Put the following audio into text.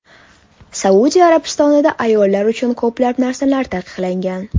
Saudiya Arabistonida ayollar uchun ko‘plab narsalar taqiqlangan.